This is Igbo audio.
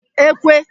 ékwé